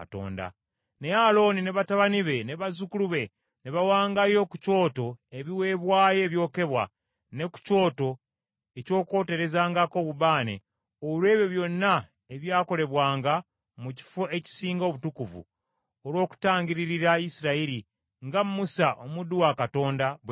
Naye Alooni ne batabani be ne bazzukulu be, be baawangayo ku kyoto ebiweebwayo ebyokebwa ne ku kyoto eky’okwoterezangako obubaane olw’ebyo byonna ebyakolebwanga mu Kifo ekisinga Obutukuvu, olw’okutangirira Isirayiri, nga Musa, omuddu wa Katonda bwe yalagira.